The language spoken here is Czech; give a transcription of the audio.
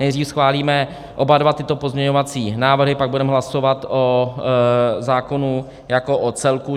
Nejdřív schválíme oba dva tyto pozměňovací návrhy, pak budeme hlasovat o zákonu jako o celku.